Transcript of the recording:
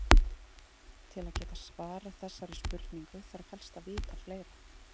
Til að geta svarað þessari spurningu þarf helst að vita fleira.